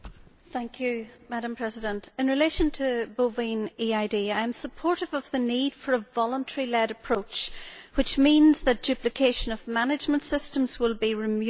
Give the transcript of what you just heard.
Madam President, in relation to bovine EID, I am supportive of the need for a voluntary led approach, which means that duplication of management systems will be removed.